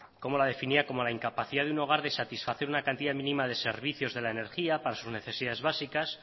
la definía como la incapacidad de un hogar de satisfacer una cantidad mínima de servicios de la energía para sus necesidades básicas